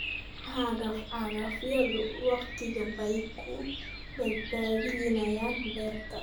Cagaf-cagafyadu wakhti bay ku badbaadiyaan beerta.